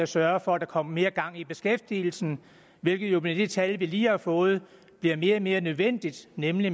sørge for at der kom mere gang i beskæftigelsen hvilket jo med de tal vi lige har fået bliver mere og mere nødvendigt nemlig